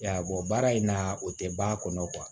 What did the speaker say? I y'a ye baara in na o tɛ ban a kɔnɔ